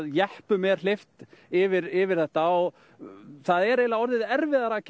jeppum er hleypt yfir yfir þetta og það er orðið erfiðara